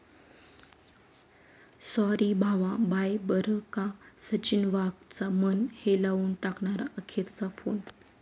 Sorry भावा, bye बरं का...',सचिन वाघचा मन हेलावून टाकणारा अखेरचा फोन!